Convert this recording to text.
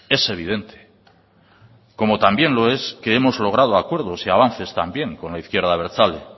es evidente como también lo es que hemos logrado acuerdos y avances también con la izquierda abertzale